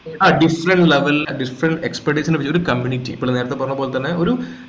ആ different level ലെ different expedit നെ ഈ ഒരു community ഇപ്പോൾ നേരത്തെ പറഞ്ഞ പോലെ തന്നെ ഒരു